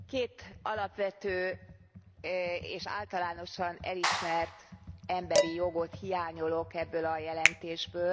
Két alapvető és általánosan elismert emberi jogot hiányolok ebből a jelentésből.